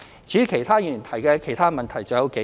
至於其他議員提及的其他問題還有數個。